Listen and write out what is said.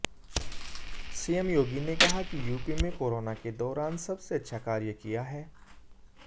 CM Yogi ने कहा कि यूपी में कोरोना के दौरान सबसे अच्छा कार्य किया है